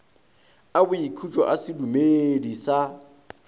a boikhutšo a sedumedi sa